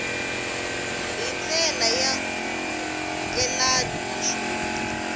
hi ndlela ya nkhulukelano naswona